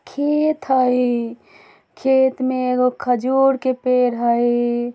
खेत हई खेत में एगो खजूर के पेड़ है।